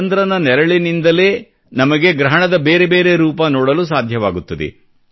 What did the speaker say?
ಚಂದ್ರನ ನೆರಳಿನಿಂದಲೇ ನಮಗೆ ಗ್ರಹಣದ ಬೇರೆ ಬೇರೆ ರೂಪ ನೋಡಲು ಸಾಧ್ಯವಾಗುತ್ತದೆ